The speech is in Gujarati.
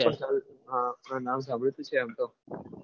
હા નામ સાંભળેલું છે એમ તો